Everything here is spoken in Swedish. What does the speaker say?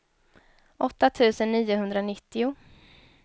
åtta tusen niohundranittio